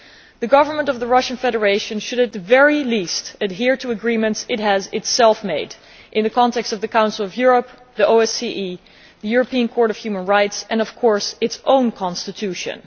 The Government of the Russian Federation should at the very least adhere to agreements it has itself made in the context of the Council of Europe, the OSCE, the European Court of Human Rights and, of course, its own constitution.